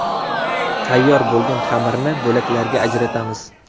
Tayyor bo‘lgan xamirni bo‘laklarga ajratamiz.